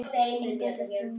Engu þeirra var skemmt.